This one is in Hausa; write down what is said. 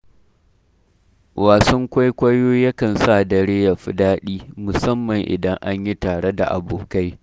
Wasan kwaikwayo yakan sa dare ya fi daɗi, musamman idan an yi tare da abokai.